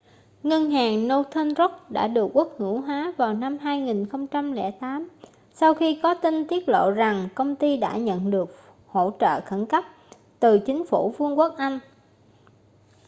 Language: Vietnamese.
ngân hàng northern rock đã được quốc hữu hóa vào năm 2008 sau khi có tin tiết lộ rằng công ty đã nhận được hỗ trợ khẩn cấp từ chính phủ vương quốc anh